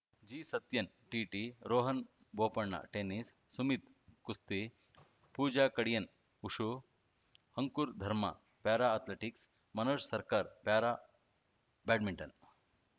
ಜಿಸತ್ಯನ್‌ TT Rohan Bopanna tennis Sumit ಕುಸ್ತಿ ಪೂಜಾ ಕಡಿಯನ್‌ವುಶು ಅಂಕುರ್‌ ಧರ್ಮಾ para athletics Manoj ಸರ್ಕಾರ್‌ ಪ್ಯಾರಾ ಬ್ಯಾಡ್ಮಿಂಟನ್‌